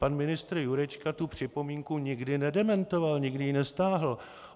Pan ministr Jurečka tu připomínku nikdy nedementoval, nikdy ji nestáhl.